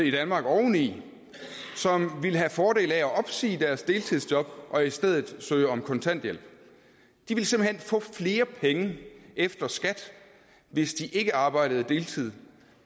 i danmark oveni som ville have fordel af at opsige deres deltidsjob og i stedet søge om kontanthjælp de ville simpelt hen få flere penge efter skat hvis de ikke arbejdede deltids